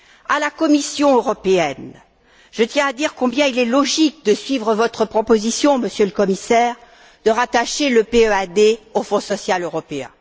À la Commission européenne, je tiens à dire combien il est logique de suivre votre proposition, Monsieur le Commissaire, de rattacher le PEAD au Fonds social européen.